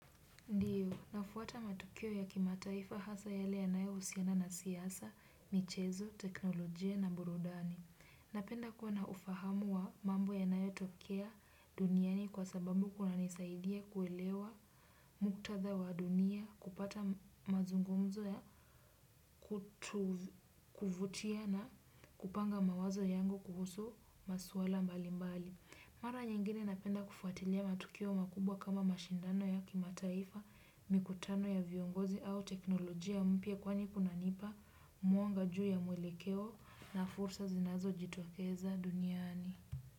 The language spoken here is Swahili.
Ndiyo, nafuata matukio ya kimataifa hasa yele ya nayohusiana na siasa, michezo, tekinolojia na burudani. Napenda kuwa na ufahamu wa mambo yanayotokea duniani kwa sababu, kunanisaidia kuelewa muktadha wa dunia, kupata mazungumzo ya kuvutia na kupanga mawazo yangu kuhusu maswala mbali mbali. Mara nyingine napenda kufuatilia matukio makubwa kama mashindano ya kimataifa, mikutano ya viongozi au teknolojia mpya, kwani kunanipa mwanga juu ya muelekeo na fursa zinazojitokeza duniani.